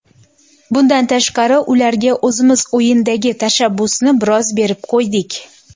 Bundan tashqari, ularga o‘zimiz o‘yindagi tashabbusni biroz berib qo‘ydik.